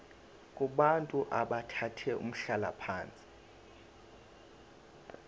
kubantu abathathe umhlalaphansi